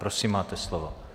Prosím, máte slovo.